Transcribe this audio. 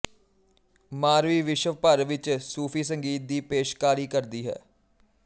ਮਾਰਵੀ ਵਿਸ਼ਵ ਭਰ ਵਿੱਚ ਸੂਫ਼ੀ ਸੰਗੀਤ ਦੀ ਪੇਸ਼ਕਾਰੀ ਕਰਦੀ ਹੈ